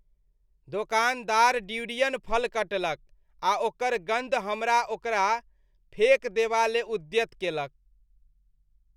दोकानदार ड्यूरियन फल कटलक आ ओकर गन्ध हमरा ओकरा फेक देबा ले उद्यत केलक